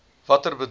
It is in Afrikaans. watter bedrag